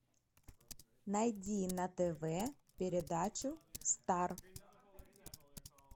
найди на тв передачу стар